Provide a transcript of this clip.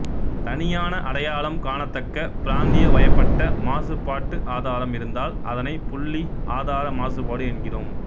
தனியான அடையாளம் காணத்தக்க பிராந்தியவயப்பட்ட மாசுபாட்டு ஆதாரம் இருந்தால் அதனை புள்ளி ஆதார மாசுபாடு என்கிறோம்